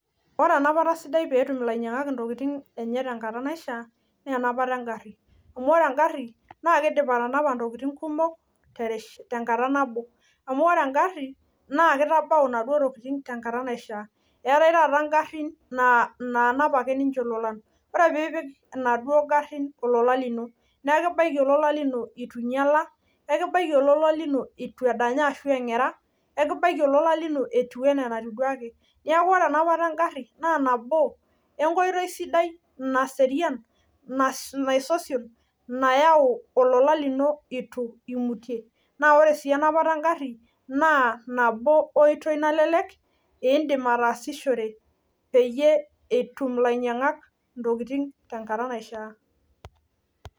Oree enapataa sidaii peyiee etum illainyangak ntokitin enye tenkataa naishaa naa enapataa eengari amuu kidim atanapaa into intokitin kumok tenkataa naboo umuu oree enkagarii naa kitabau intokitin tenkataa naishaa naa keetae ingarin naanap ilolan oree peyiee ipik enkarii ololaa naa kitabau ololaa ituu inyalaa tenkataa naishaa